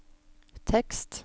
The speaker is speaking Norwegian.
tekst